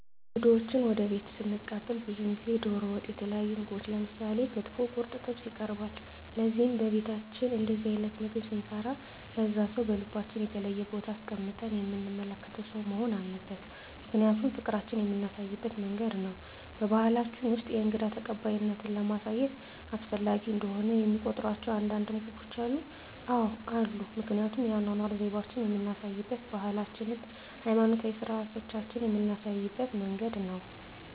እንግዶችዎን ወደ ቤትዎ ስንቀበል ብዙውን ጊዜ ደሮ ወጥ የተለያዩ ምግቦች ምሳሌ ክትፎ ቁርጥ ጥብስ ይቀርባል ለዚህም በቤታችን እንደዚህ አይነት ምግብ ስንሰራ ለዛ ሰው በልባችን የተለየ ቦታ አስቀምጠን የምንመለከተው ሰው መሆን አለበት ምክንያቱም ፍቅራችን የምናሳይበት መንገድ ነው በባሕላችን ውስጥ የእንግዳ ተቀባይነትን ለማሳየት አስፈላጊ እንደሆነ የሚቆጥሯቸው አንዳንድ ምግቦች አሉ? አዎ አሉ ምክንያቱም የአኗኗር ዘይቤአችንን የምናሳይበት ባህላችንን ሀይማኖታዊ ስርአቶቻችንን ምናሳይበት መንገድ ነው